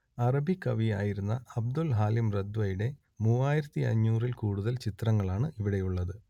അറബികവി ആയിരുന്ന Abdul Halim റദ്വയുടെ മൂവായിരത്തിയഞ്ഞൂറിൽ കൂടുതൽ ചിത്രങ്ങളാണ് ഇവിടെയുള്ളത്